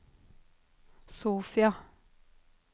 Sofia